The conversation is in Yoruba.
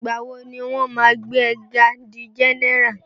Ìgbà wo ni wọ́n máa gbé e ga di general?